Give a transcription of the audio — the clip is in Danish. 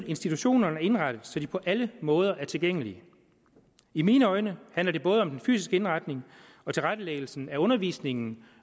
institutionerne er indrettet så de på alle måder er tilgængelige i mine øjne handler det om både den fysiske indretning og tilrettelæggelsen af undervisning